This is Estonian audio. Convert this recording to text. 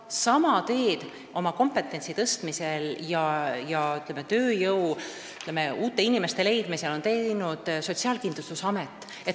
Sama tee on oma kompetentsi tõstmisel ja tööjõu, uute inimeste leidmisel valinud Sotsiaalkindlustusamet.